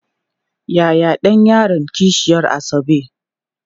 Yaya ɗan yaron kishiyar Asabe?